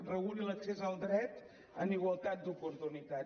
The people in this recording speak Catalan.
reguli l’accés al dret en igualtat d’oportunitats